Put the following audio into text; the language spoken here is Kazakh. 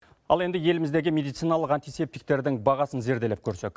ал енді еліміздегі медициналық антисептиктердің бағасын зерделеп көрсек